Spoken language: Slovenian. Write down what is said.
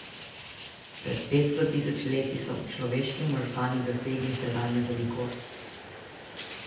Pred petsto tisoč leti so človeški možgani dosegli sedanjo velikost.